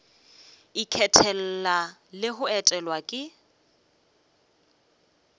ikgethela le go etelwa ke